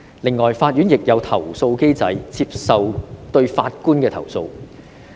此外，法院亦設有投訴機制，處理對法官的投訴。